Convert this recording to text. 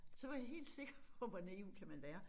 Så var jeg helt sikkert på hvor naiv kan man være